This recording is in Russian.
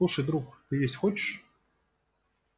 слушай друг ты есть хочешь